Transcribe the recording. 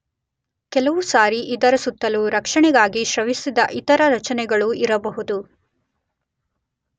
ಕೆಲವು ಸಾರಿ ಅದರ ಸುತ್ತಲೂ ರಕ್ಷಣೆಗಾಗಿ ಸ್ರವಿಸಿದ ಇತರ ರಚನೆಗಳೂ ಇರಬಹುದು.